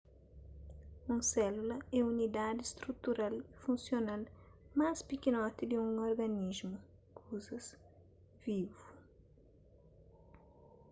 un sélula é unidadi strutural y funsional más pikinoti di un organismu kuzas vivu